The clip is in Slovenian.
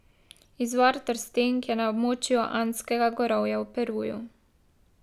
Izvor trstenk je na območju Andskega gorovja v Peruju.